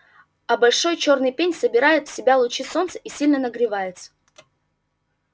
а большой чёрный пень собирает в себя лучи солнца и сильно нагревается